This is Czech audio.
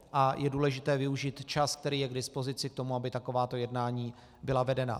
A je důležité využít čas, který je k dispozici k tomu, aby takováto jednání byla vedena.